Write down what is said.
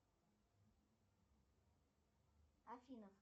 афина